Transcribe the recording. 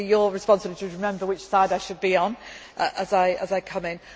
will keep moving across. It will be your responsibility to remember which side I should